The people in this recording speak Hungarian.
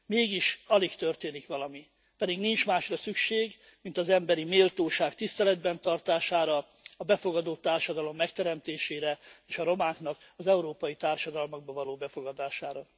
Mégis alig történik valami, pedig nincs másra szükség, mint az emberi méltóság tiszteletben tartására, a befogadó társadalom megteremtésére, és a romáknak az európai társadalmakba való befogadására.